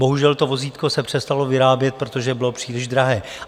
Bohužel, to vozítko se přestalo vyrábět, protože bylo příliš drahé.